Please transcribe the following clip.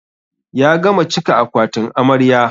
Ya gama cika akwatin amarya.